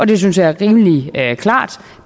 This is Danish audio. det synes jeg er rimelig klart